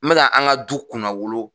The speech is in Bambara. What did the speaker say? Me ka an ka du kunnawolo